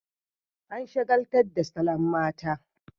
An shagaltar da saloon mata